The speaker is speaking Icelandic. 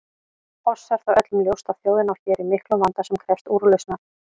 Oss er það öllum ljóst að þjóðin á hér í miklum vanda sem krefst úrlausnar.